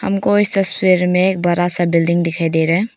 हमको इस तस्वीर में एक बड़ा सा बिल्डिंग दिखाई दे रहा है।